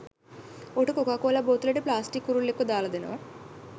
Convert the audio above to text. ඔහුට කොකාකෝලා බෝතලයකට ප්ලාස්ටික් කුරුල්ලෙක්ව දාල දෙනවා